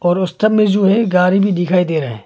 पर उस तरफ में जो है गाड़ी भी दिखाई दे रहा है।